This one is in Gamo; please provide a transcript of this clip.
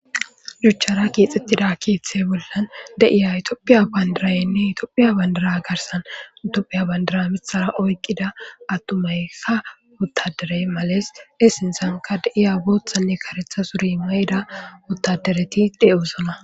Juchchara keexxettida keeththey bollan deiya itopphiya bandirayenne itophiya bandara garsan dophiya bandara mithara oykqida attumaykka uttaderey males essinsanka deiya booththanne karetha suri mayda ottadereti dhe'usoma.